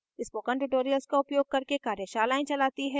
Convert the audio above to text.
spoken tutorials का उपयोग करके कार्यशालाएं चलाती है